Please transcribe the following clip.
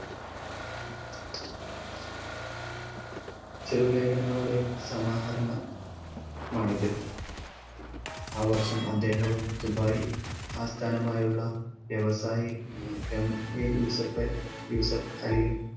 ചെറുലേഖനങ്ങളുടെ സമാഹരണം മാണിത് ആ വർഷം അദ്ദേഹവും ദുബായ് ആസ്ഥാനമായുള്ള വ്യവസായി MA യൂസഫ്, യൂസഫ് അലിയും